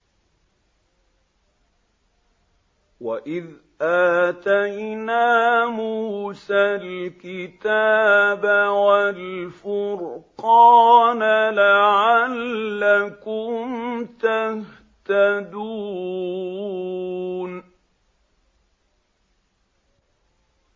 وَإِذْ آتَيْنَا مُوسَى الْكِتَابَ وَالْفُرْقَانَ لَعَلَّكُمْ تَهْتَدُونَ